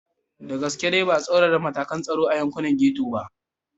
Da gaske dai ba a tsaurara matakan tsaro a yankunan Getto ba.